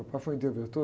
Papai foi interventor.